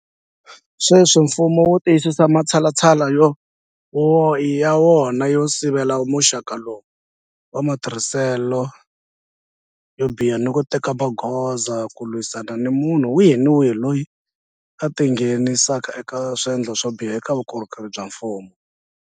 Sweswi mfumo wu tiyisisa matshalatshala ya wona yo sivela muxaka lowu wa matirhiselo yo biha ni ku teka magoza ku lwisana ni munhu wihi ni wihi loyi a tingheni saka eka swendlo swo biha eka vukorhokeri bya mfumo.